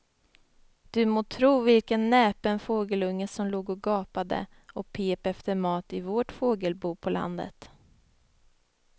Du må tro vilken näpen fågelunge som låg och gapade och pep efter mat i vårt fågelbo på landet.